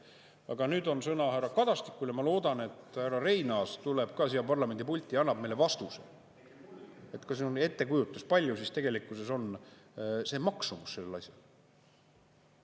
Aga nüüd on sõna härra Kadastikulja ma loodan, et härra Reinaas tuleb ka siia parlamendipulti ja annab meile vastuse, kas on ettekujutus, palju siis tegelikkuses on see maksumus sellel asjal.